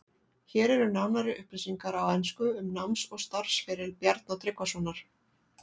Hér eru nánari upplýsingar á ensku um náms- og starfsferil Bjarna Tryggvasonar.